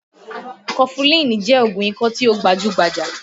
Kọfulin jẹ́ oògùn ikọ́ tí ó gbajú-gbajà